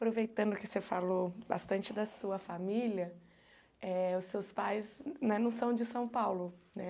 Aproveitando que você falou bastante da sua família, eh os seus pais né não são de São Paulo, né?